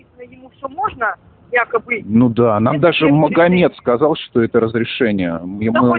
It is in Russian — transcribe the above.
ему все можно якобы ну да нам даже магомед сказал что это разрешение и мы